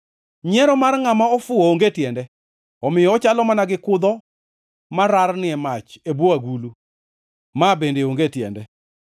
Nyiero mar ngʼama ofuwo onge tiende omiyo ochalo mana gi kudho mararni e mach e bwo agulu. Ma bende onge tiende.